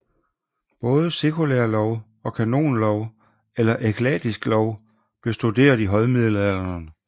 Både sekulær lov og kanonlov eller eklastisk lov blev studeret i højmiddelalderen